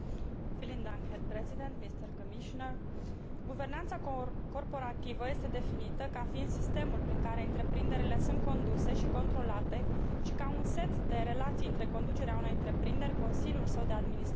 Guvernanța corporativă este definită ca fiind sistemul prin care întreprinderile sunt conduse și controlate și ca un set de relații între conducerea unei întreprinderi, consiliul său de administrație, acționarii săi și celelalte părți interesate.